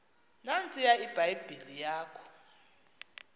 nantsiya ibhayibhile yakho